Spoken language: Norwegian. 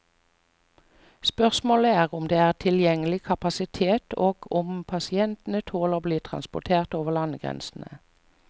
Spørsmålet er om det er tilgjengelig kapasitet og om pasientene tåler å bli transport over landegrensene.